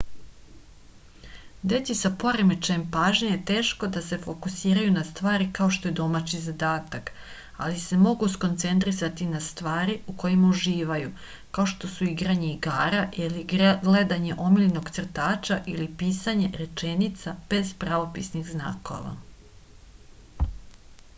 deci sa poremećajem pažnje je teško da se fokusiraju na stvari kao što je domaći zadatak ali se mogu skoncentrisati na stvari u kojima uživaju kao što su igranje igara ili gledanje omiljenog crtaća ili pisanje rečenica bez pravopisnih znakova